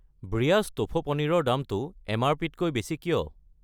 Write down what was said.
ব্ৰিয়াছ tofu paneer ৰ দামটো এম.আৰ.পি.-তকৈ বেছি কিয়?